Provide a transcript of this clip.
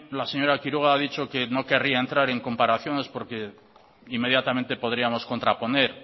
la señora quiroga ha dicho que no querría entrar en comparaciones porque inmediatamente podríamos contraponer